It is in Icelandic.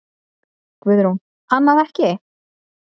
Guðrún: Annað ekki?